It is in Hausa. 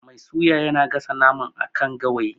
Mai suyar yana gasa naman a kan gawayi.